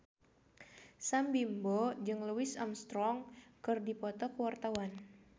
Sam Bimbo jeung Louis Armstrong keur dipoto ku wartawan